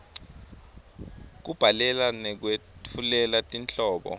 kubhalela nekwetfulela tinhlobo